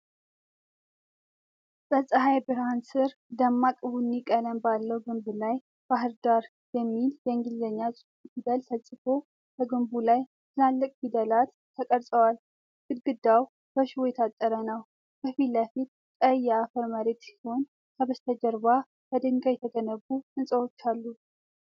በፀሐይ ብርሃን ስር፣ ደማቅ ቡኒ ቀለም ባለው ግንብ ላይ "BAHIRDAR" የሚል የእንግሊዘኛ ፊደል ተጽፎ። በግንቡ ላይ ትላልቅ ፊደላት ተቀርጸዋል፣ ግድግዳው በሽቦ የታጠረ ነው። ከፊት ለፊት ቀይ የአፈር መሬት ሲሆን፣ ከበስተጀርባ በድንጋይ የተገነቡ ሕንፃዎች አሉ።